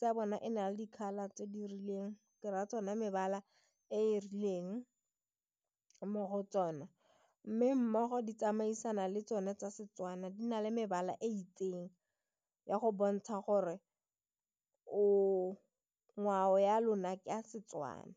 ya bona e na le dikgaba tse di rileng ke ra tsona mebala e e rileng mo go tsona mme mmogo di tsamaisana le tsone tsa Setswana di na le mebala e itseng ya go bontsha gore o ngwao ya lona ke ya Setswana.